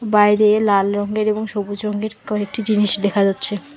বাইরে লাল রঙ্গের এবং সবুজ রঙ্গের কয়েকটি জিনিস দেখা যাচ্ছে।